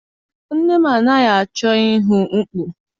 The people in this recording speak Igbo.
Nne m anaghị achọ ihu mkpu.